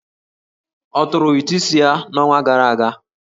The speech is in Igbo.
Ọ tụrụ ụtụ isi ya n'ọnwa gara aga?